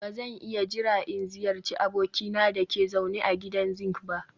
Ba zan iya jira in ziyarci abokina da ke zaune a gidan zinc ba